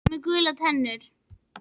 Hann er svín með gular tennur.